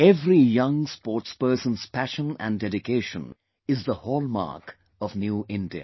Every young sportsperson's passion & dedication is the hallmark of New India